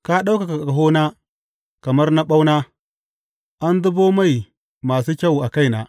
Ka ɗaukaka ƙahona kamar na ɓauna; an zubo mai masu kyau a kaina.